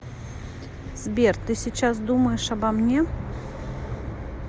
сбер ты сейчас думаешь обо мне